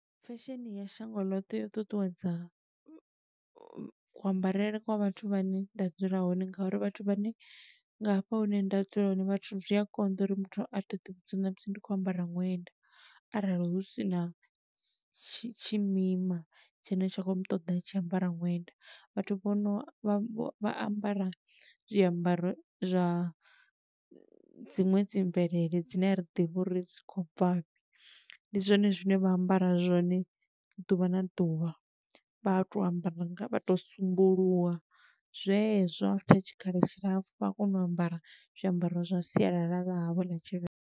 Fesheni ya shango ḽoṱhe yo ṱuṱuwedza, kuambarele kwa vhathu vha ne nda dzula hone nga uri vhathu vha ne, nga hafha hune nda dzula hone, vhathu zwi a konḓa uri muthu a to ḓi vhudza uri namusi ndi khou ambara ṅwenda arali hu sina tshimima, tshine tsha khou mutoḓa a tshi ambara ṅwenda. Vhathu vho no vha vho vha ambara zwiambaro zwa dziṅwe dzi mvelele dzine a ri ḓivhi uri dzi khou bva fhi. Ndi zwone zwine vha ambara zwone ḓuvha na ḓuvha, vha to ambara vha to sambuluwa zwezwo after tshikhala tshilapfu vha kona u ambara zwiambaro zwa sialala ḽa havho ḽa Tshivenḓa.